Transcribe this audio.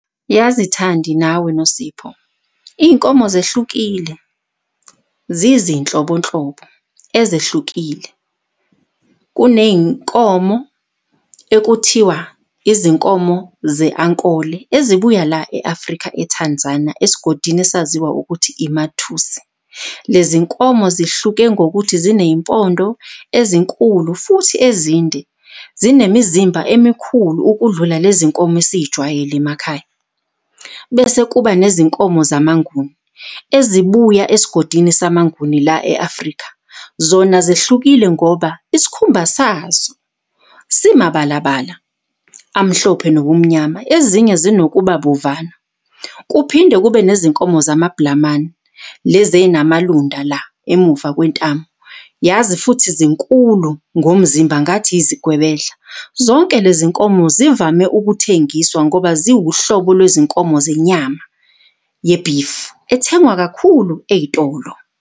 Yazi Thandi nawe Nosipho, iy'nkomo zehlukile zizinhlobo nhlobo ezehlukile. Kuney'nkomo ekuthiwa izinkomo ze-ankoli ezibuya la e-Afrika e-Tanzania, esigodini esaziwa ukuthi iMathusi. Lezi nkomo zihluke ngokuthi ziney'mpondo ezinkulu futhi ezinde, zinemizimba emikhulu ukudlula lezinkomo esiy'jwayele emakhaya. Bese kuba nezinkomo zamanguni, ezibuya esigodini samanguni la e-Afrika. Zona zihlukile ngoba isikhumba sazo simabalabala amhlophe nobumnyama, ezinye zinokuba bovana. Kuphinde kube nezinkomo zamabhulamane lezi ey'namalunda la emuva kwentamo. Yazi futhi zinkulu ngomzimba ngathi izigwebedla. Zonke lezi nkomo zivame ukuthengiswa ngoba ziwu hlobo lwezinkomo zenyama ye-beef ethengwa kakhulu ey'tolo.